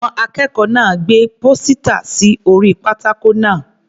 Àwọn akẹ́kọ̀ọ́ náà gbé pósítà sí orí pátákó náà.